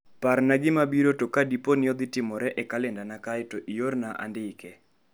Parna gima mabiro ka dipo ni odhi timore e kalendana kae to iorna andiko.